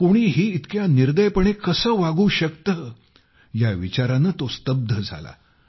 कोणीही इतक्या निर्दयपणे कसे वागू शकते या विचाराने तो स्तब्ध झाला